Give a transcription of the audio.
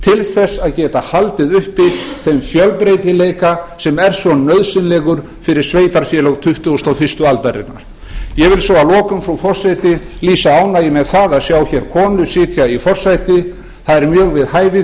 til þess að geta haldið uppi þeim fjölbreytileika sem er svo nauðsynlegur fyrir sveitarfélög tuttugasta og fyrstu aldarinnar ég vil svo að lokum frú forseti lýsa ánægju með það að sjá hér konu sitja í forsæti það er mjög við hæfi